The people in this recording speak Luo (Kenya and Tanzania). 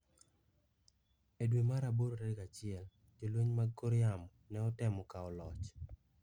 E dwe mar aboro tarik achiel, Jolweny mag kor yamo ne otemo kawo loch.